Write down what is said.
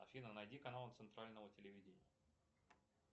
афина найди каналы центрального телевидения